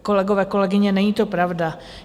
Kolegové, kolegyně, není to pravda.